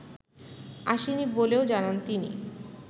আসেনি বলেও জানান তিনি